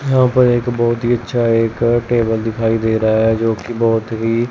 यहां पर एक बहुत ही अच्छा एक टेबल दिखाई दे रहा है जोकि बहोत ही--